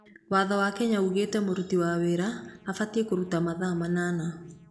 Watho wa Kenya ũgĩte mũruti wĩra abatiĩ kũruta mathaa manana.